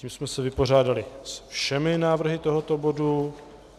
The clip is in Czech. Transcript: Tím jsme se vypořádali se všemi návrhy tohoto bodu.